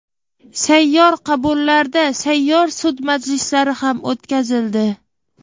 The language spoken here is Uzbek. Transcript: Sayyor qabullarda sayyor sud majlislari ham o‘tkazildi.